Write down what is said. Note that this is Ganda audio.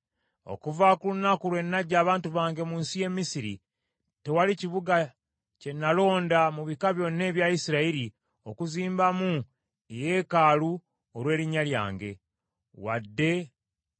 “ ‘Okuva ku lunaku lwe naggya abantu bange mu nsi y’e Misiri, tewali kibuga kye nnalonda mu bika byonna ebya Isirayiri okuzimba mu eyeekaalu olw’erinnya lyange, wadde